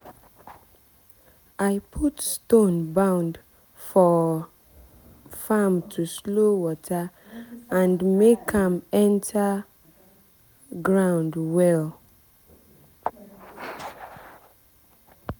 i put stone bund for um farm to slow water and make am enter um ground well.